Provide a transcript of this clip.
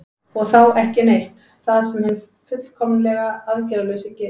og þá „ekki neitt“ það sem hinn fullkomlega aðgerðalausi gerir